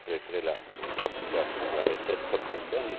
J'aurais préféré l'application de la méthode communautaire